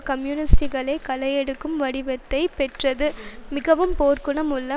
கம்யூனிஸ்ட்டுகளைக் களையெடுக்கும் வடிவத்தைப் பெற்றது மிகவும் போர்க்குணம் உள்ள